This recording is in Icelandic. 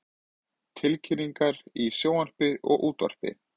Tilkynningar í sjónvarpi og útvarpi.